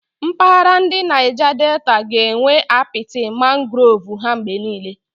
Mpaghara ndi Naija Deta ga-enwe apiti mangrovu ha mgbe niile.